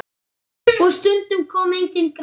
Og stundum kom enginn grátur.